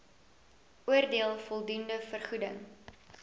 oordeel voldoende vergoeding